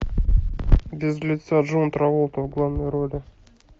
без лица джон траволта в главной роли